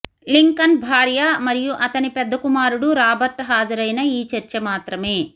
Lincoln భార్య మరియు అతని పెద్ద కుమారుడు రాబర్ట్ హాజరైన ఈ చర్చ మాత్రమే